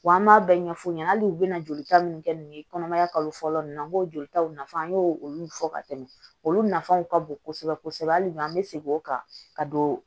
Wa an b'a bɛɛ ɲɛfu ɲɛna hali u bɛna joli ta minnu kɛ nin ye kɔnɔmaya kalo fɔlɔ ninnu na an b'o joli taw nafa an y'o olu fɔ ka tɛmɛ olu nafaw ka bon kosɛbɛ kosɛbɛ hali bi an bɛ segin o kan ka don